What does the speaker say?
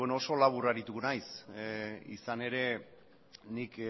beno oso labur arituko naiz izan ere nik